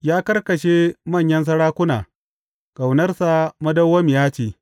Ya karkashe manyan sarakuna, Ƙaunarsa madawwamiya ce.